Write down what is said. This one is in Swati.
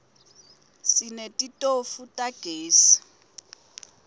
sinetitofu tagezi